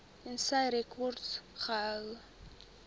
tensy rekords gehou